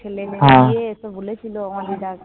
তো বলেছিল আমার দিদা